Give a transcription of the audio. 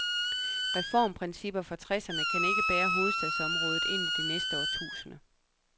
Reformprincipper fra tresserne kan ikke bære hovedstadsområdet ind i det næste årtusinde.